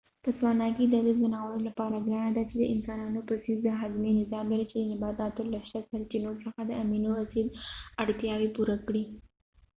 په سوانا کې دا د ځناورو لپاره ګرانه ده چې د انسنانونو په څیر د هاضمې نظام لري چې د نباتاتو له شته سرچینو څخه د امینو اسید اړتیاوې پوره کړي